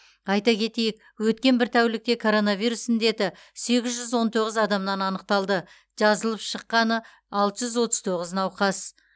айта кетейік өткен бір тәулікте коронавирус індеті сегіз жүз он тоғыз адамнан анықталды жазылып шықты алты жүз отыз тоғыз науқас